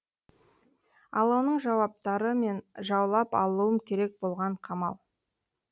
ал оның жауаптары мен жаулап алуым керек болған қамал